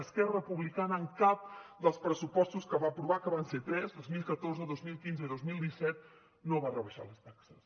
esquerra republicana en cap dels pressupostos que va aprovar que van ser tres dos mil catorze dos mil quinze i dos mil disset no va rebaixar les taxes